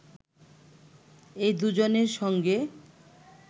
এই দুজনের সঙ্গে